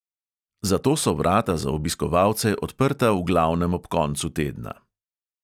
Zato so vrata za obiskovalce odprta v glavnem ob koncu tedna.